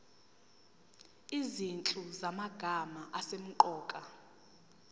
izinhlu zamagama asemqoka